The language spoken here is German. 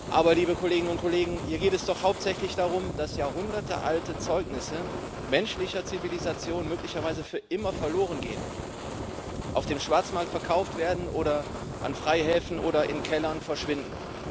Aber hier geht es doch hauptsächlich darum, dass jahrhundertealte Zeugnisse menschlicher Zivilisation möglicherweise für immer verloren gehen, auf dem Schwarzmarkt verkauft werden oder an Freihäfen oder in Kellern verschwinden.